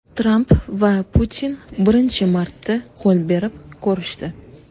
Tramp va Putin birinchi marta qo‘l berib ko‘rishdi .